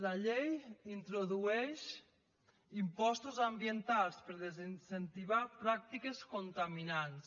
la llei introdueix impostos ambientals per a desincentivar pràctiques contaminants